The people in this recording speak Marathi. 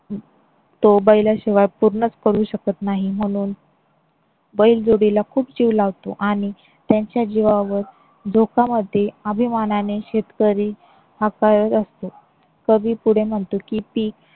तो बैलाशिवाय पूर्णच करू शकत नाही म्हणून बैलजोडीला खूप जीव लावतो आणि त्यांच्या जीवावर धोकामध्ये अभिमानाने शेतकरी हा असतो. कवी पुढे म्हणतो की पीक